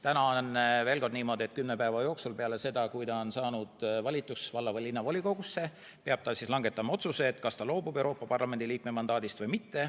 Täna on niimoodi, et kümne päeva jooksul peale seda, kui ta on valitud valla- või linnavolikogusse, peab ta langetama otsuse, kas ta loobub Euroopa Parlamendi liikme mandaadist või mitte.